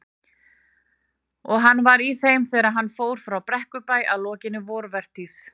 Og var hann í þeim þegar hann fór frá Brekkubæ að lokinni vorvertíð.